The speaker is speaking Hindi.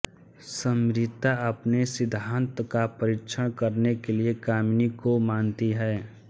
सिम्रिता अपने सिद्धान्त का परिक्षण करने के लिए कामिनी को मनाती है